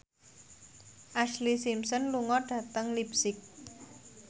Ashlee Simpson lunga dhateng leipzig